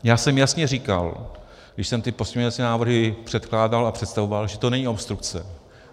Já jsem jasně říkal, když jsem ty pozměňovací návrhy předkládal a představoval, že to není obstrukce.